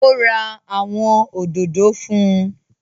Ó ra àwọn òdòdó fún